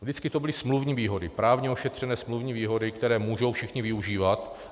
Vždycky to byly smluvní výhody, právně ošetřené smluvní výhody, které mohou všichni využívat.